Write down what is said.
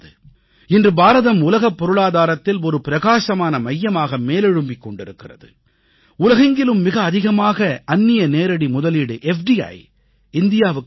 இன்று பாரதம் உலகப் பொருளாதாரத்தில் ஒரு பிரகாசமான மையமாக மேலெழும்பிக் கொண்டிருக்கிறது உலகெங்கிலும் மிக அதிகமாக அந்நிய நேரடி முதலீடு எஃப்டிஇ இந்தியாவுக்கு வருகிறது